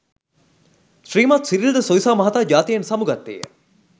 ශ්‍රීමත් සිරිල් ද සොයිසා මහතා ජාතියෙන් සමුගත්තේ ය.